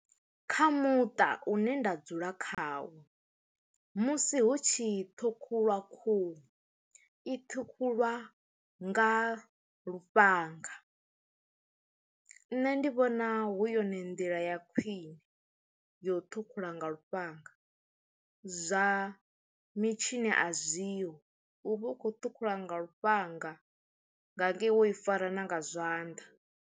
Kha muṱa une nda dzula khawo musi hu tshi ṱhukhulwa khuhu i ṱhukhuliwa nga lufhanga. Nṋe ndi vhona hu yone ndila ya khwine ya u ṱhukhula nga lufhanga zwa mitshini a zwi ho u vha u khou ṱhukhula nga lufhanga nga ngei wo i fara na nga zwanḓa.